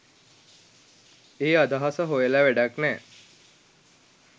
ඒ අදහස හොයල වැඩක් නෑ.